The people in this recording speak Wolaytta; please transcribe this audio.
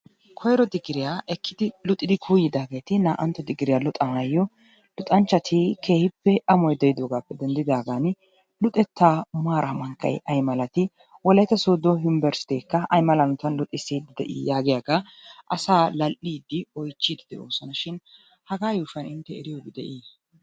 Koyro digiriyaa ekkidi luxxidi kuuyidaageti naa'antto digiriyaa luxxanaayo luxxanchchati keehiippe amoy de'idoogaappe dendidaagan luxxettaa maaray mankkay ay malati wolaytta sooddo yunbberestteekka aymala hanotaan luxxissidi de'ii yaagiyagaa asaa lal'iidi oychchidi de'oos shin hagaa yuushuwan intte eriyobi de'ii?